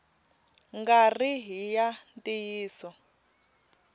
nga ri hi ya ntiyiso